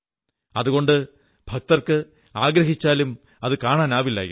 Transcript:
അതുകൊണ്ട് ഭക്തർക്ക് ആഗ്രഹിച്ചാലും കാണാനാവില്ലായിരുന്നു